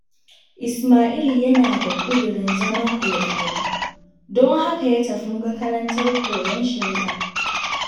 Ismai'l yana da ƙudirin zama Alƙali, don haka ya tafi makarantar koyon shari'a.